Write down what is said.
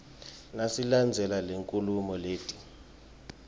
nasilandzela lenkhulumo letsi